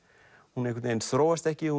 hún einhvern veginn þróast ekki